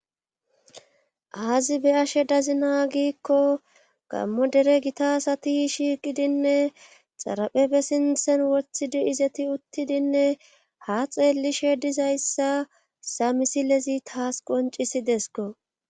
aazi be'ashe dazina giikko gammo dere gita sati shiiqidinne xaraphefe sintsen wothidi izeti uttidinne ha xeellishe dizayssa haysa misilezi taas qoncisidesko